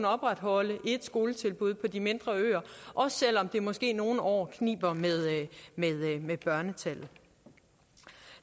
opretholde et skoletilbud på de mindre øer også selv om det måske nogle år kniber med børnetallet